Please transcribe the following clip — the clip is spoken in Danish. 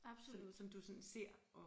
Som som du sådan ser og